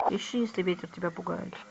ищи если ветер тебя пугает